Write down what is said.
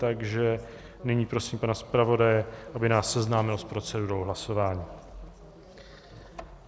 Takže nyní prosím pana zpravodaje, aby nás seznámil s procedurou hlasování.